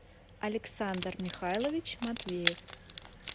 александр михайлович матвеев